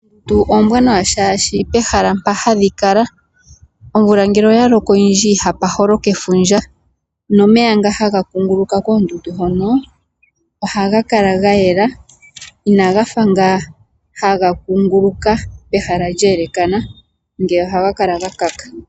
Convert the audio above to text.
Oondundu ombwanawa shaashi pehala mpa hadhi kala omvula ngele oya loko oyindji ihapa holoka efundja. Nomeya nga haga kunguluka koondundu hono ohaga kala gayela. Ina gafa nga haga kunguluka pehala lye elekana ngeya oha ga kala ga kaka.